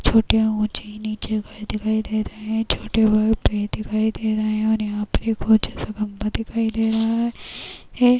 छोटे ऊँचे-नीचे घर दिखाई दे रहे हैं। छोटे-बड़े पेड़ दिखाई दे रहे है और यहाँ पे बहोत ज्यादा दिखाई दे रहा है है। --